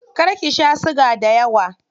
Kar ki sha siga dayawa.